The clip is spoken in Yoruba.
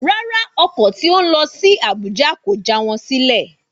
Rárá, ọkọ̀ tí ó ń lọ sí Abuja kò já wọn sílè